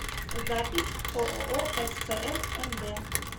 запись ооо спс мд